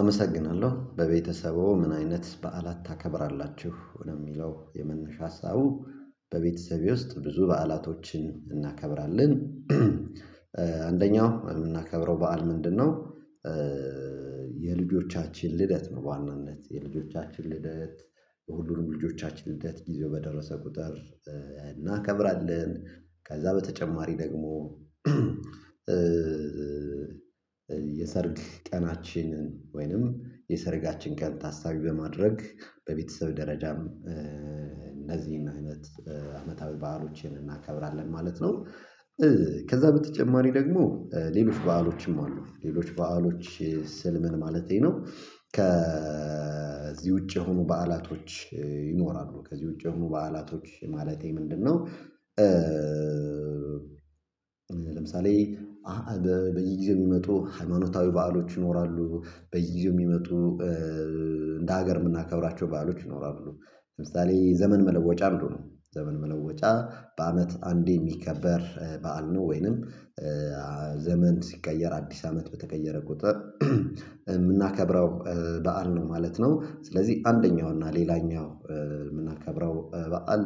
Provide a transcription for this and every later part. አመሰግናለሁ በቤተሰቡ ምን አይነት በዓላት ታከብራላችሁ ወደሚለው የመነሻ ሀሳቡ? በቤተሰቤ ውስጥ ብዙ በዓላቶችን እናከብራለን። አንደኛው የምናከብረው በዓል ምንድነው የልጆቻችን ልደት ነው። በዋናነት የልጆቻችን ልደት የሁሉንም ልጆቻችን ልደት ጊዜው በደረሰ ቁጥር እናከብራለን። ከዛ በተጨማሪ ደግሞ የሰርግ ቀናችንን ወይንም የሰርጋችን ቀን ታሳቢ በማድረግ በቤተሰብ ደረጃም እነዚህን አይነት አመታዊ በዓሎችን እናከብራለን ማለት ነው። ከዛ በተጨማሪ ደግሞ ሌሎች በዓሎችም አሉ ሌሎች በዓሎች ስል ምን ማለቴ ነው። ከዚህ ውጪ የሆኑ በዓላቶች ይኖራሉ ከዚህ ውጪ የሆኑ በዓላቶች ማለቴ ምንድነው? ለምሳሌ በዚህ ጊዜ የሚመጡ ሃይማኖታዊ በዓሎች ይኖራሉ። በየጊዜው የሚመጡ እንደ ሀገር የምናከብራቸው ባአሎች ይኖራሉ ለምሳሌ ዘመን መለወጫ አንዱ ነው ዘመን መለወጫ በአመት አንዴ የሚከበር በዓል ነው። ወይንም ዘመን ሲቀየር አዲስ አመት በተቀየረ ቁጥር የምናከብረው በዓል ነው ማለት ነው። ስለዚህ አንደኛው እና ሌላኛው የምናከብረው በዓል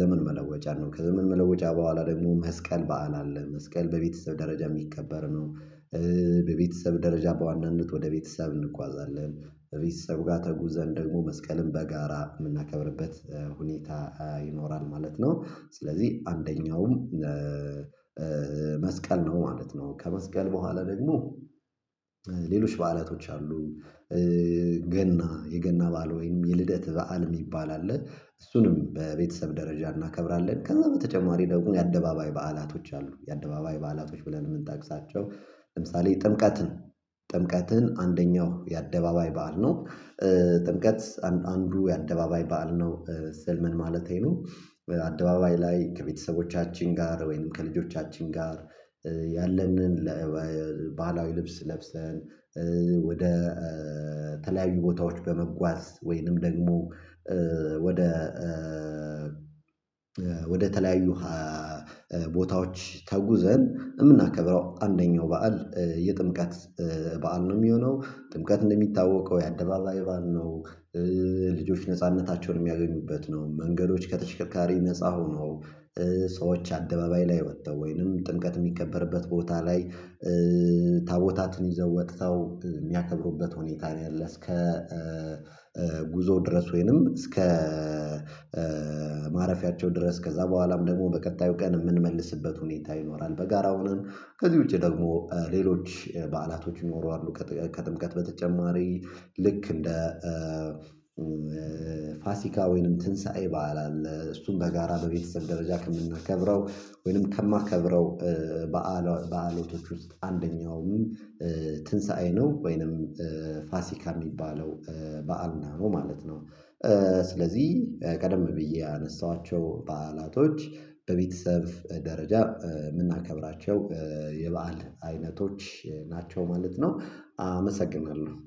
ዘመን መለወጫ ነው ከዘመን መለወጫ በኋላ ደግሞ መስቀል በዓል አለ መስቀል በቤተሰብ ደረጃ የሚከበር ነው። በቤተሰብ ደረጃ በዋናነት ወደ ቤተሰብ እንጓዛለን ቤተሰብ ጋር ተጉዘን ደግሞ መስቀልን በጋራ የምናከብርበት ሁኔታ ይኖራል ማለት ነው። ስለዚህ አንደኛውም መስቀል ነው ማለት ነው። ከመስቀል በኋላ ደግሞ ሌሎች በዓላቶች አሉ። ገና የገና ባል ወይም የልደት በዓል የሚባል አለ። እሱንም በቤተሰብ ደረጃ እናከብራለን ከዛ በተጨማሪ ደግሞ የአደባባይ በዓላቶች አሉ። የአደባባይ በዓላቶች ብለን የምንጠቅሳቸው ለምሳሌ ጥምቀትን ጥምቀትን አንደኛው የአደባባይ በዓል ነው። ጥምቀት አንዱ የአደባባይ በዓል ነው። ስል ምን ማለቴ ነው። በአደባባይ ላይ ከቤተሰቦቻችን ጋር ወይም ከልጆቻችን ጋር ያለንን ባህላዊ ልብስ ለብሰን ወደ የተለያዩ ቦታዎች በመጓዝ ወይንም ደግሞ ወደ ወደተለያዩ ቦታዎች ተጉዘን የምናከብረው አንደኛው በዓል የጥምቀት በዓል ነው። የሚሆነው ጥምቀት እንደሚታወቀው ያደባባይ በዓል ነው። ልጆች ነጻነታቸውን የሚያገኙበት ነው መንገዶች ከተሽከርካሪ ነፃ ሆኖ ሰዎች አደባባይ ላይ ወጥተው ወይንም ጥምቀት የሚከበርበት ቦታ ላይ ታቦታትን ይዘው ወጥተው የሚያከብሩበት ሁኔታ ነው ያለው። እስከ ጉዞው ድረስ ወይንም እስከ ማረፊያቸው ድረስ ከዛ በኋላም ደግሞ በቀጣዩ ቀን የምንመልስበት ሁኔታ ይኖራል በጋራው ነው። ከዚህ ውጪ ደግሞ ሌሎች በዓላቶች ይኖራሉ። ከጥምቀት በተጨማሪ ልክ እንደ ፋሲካ ወይንም ትንሳኤ በዓል አለ። እሱን በጋራ በቤተሰብ ደረጃ ከምናከብረው ወይንም ከማከብረው በዓል በዓሎቶች ውስጥ አንደኛውም ትንሳኤ ነው ወይንም ፋሲካ የሚባለው በዓልን ነው ማለት ነው። ስለዚህ ቀደም ብዬ ያነሳኋቸው በዓላቶች በቤተሰብ ደረጃ የምናከብራቸው የበአል አይነቶች ናቸው ማለት ነው። አመሰግናለሁ